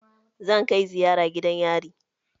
Zan kai ziyara gidan yari.